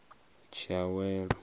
tshiawelo